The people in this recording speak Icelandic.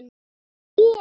Hún er hér.